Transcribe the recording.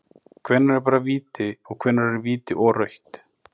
Hvenær er bara víti, og hvenær er víti og rautt??